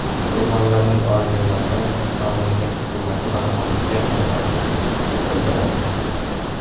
Qurbonlarning oilalari, mamlakat hukumati va xalqiga hamdardlik bildiradi.